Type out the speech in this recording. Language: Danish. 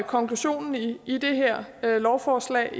konklusionen i i det her lovforslag